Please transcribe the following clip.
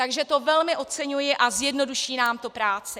Takže to velmi oceňuji a zjednoduší nám to práci.